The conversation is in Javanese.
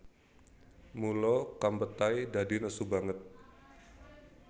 Mula Kempetai dadi nesu banget